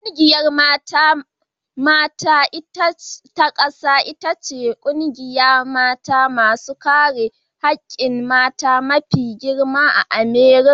Ƙungiyar mata ta ƙasa ita ce ƙungiyar mata masu kare hakkin mata mafi girma a Amurika.